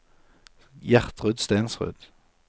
Gjertrud Stensrud